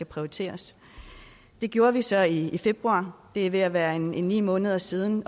prioriteres det gjorde vi så i i februar det er ved at være ni måneder siden